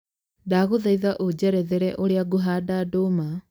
ndangũthaitha ũnjererethere ũrĩa ngũhanda ndũma